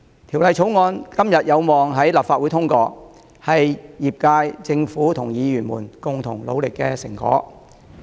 《條例草案》今天有望在立法會通過，是業界、政府及議員們共同努力的成果。